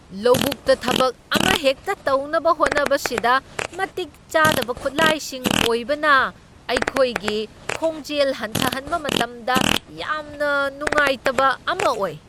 ꯂꯧꯕꯨꯛꯇ ꯊꯕꯛ ꯑꯃꯍꯦꯛꯇ ꯇꯧꯅꯕ ꯍꯣꯠꯅꯕꯁꯤꯗ ꯃꯇꯤꯛ ꯆꯥꯗꯕ ꯈꯨꯠꯂꯥꯏꯁꯤꯡ ꯑꯣꯏꯕꯅ ꯑꯩꯈꯣꯏꯒꯤ ꯈꯣꯡꯖꯦꯜ ꯍꯟꯊꯍꯟꯕ ꯃꯇꯝꯗ ꯌꯥꯝꯅ ꯅꯨꯡꯉꯥꯏꯇꯕ ꯑꯃ ꯑꯣꯏ ꯫